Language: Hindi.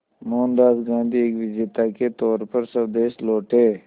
मोहनदास गांधी एक विजेता के तौर पर स्वदेश लौटे